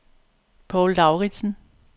Poul Lauritzen